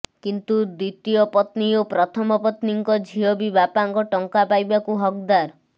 କିନ୍ତୁ ଦ୍ୱିତୀୟ ପତ୍ନୀ ଓ ପ୍ରଥମ ପତ୍ନୀଙ୍କ ଝିଅ ବି ବାପାଙ୍କ ଟଙ୍କା ପାଇବାକୁ ହକଦାର